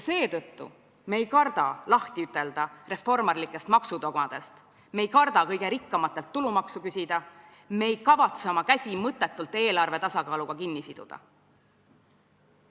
Seetõttu ei karda me lahti ütelda reformarlikest maksudogmadest, me ei karda kõige rikkamatelt tulumaksu küsida, me ei kavatse oma käsi mõttetult eelarve tasakaaluga kinni siduda.